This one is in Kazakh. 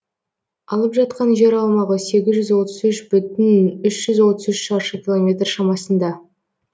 алып жатқан жер аумағы сегіз жүз отыз үш бүтін үш жүз отыз үш шаршы километр шамасында